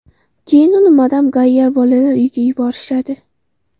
Keyin uni Madam Gayyar bolalar uyiga yuborishadi.